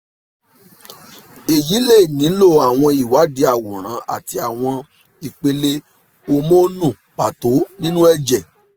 eyi le nilo awọn iwadii aworan ati awọn ipele homonu pato ninu ẹjẹ